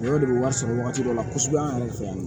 o de bɛ wari sɔrɔ wagati dɔ la kosɛbɛ an yɛrɛ fɛ yan